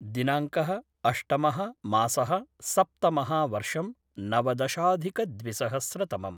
दिनांकः अष्टमः मासः सप्तमः वर्षं नवदशाधिकद्विसहस्रतमम्